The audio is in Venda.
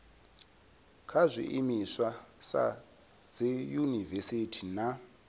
kha zwiimiswa sa dziyunivesiti na